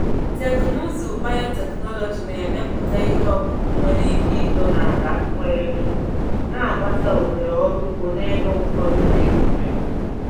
Teknụzụ biotechnology na-emepụta ihe ọkụkụ nwere ike ito n’ala nwere nnu, na-agbasa ohere ọrụ ugbo n’ebe ụfọdụ Naijiria.